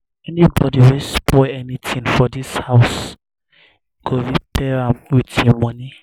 anybody wey spoil anything for dis house go repair am with im money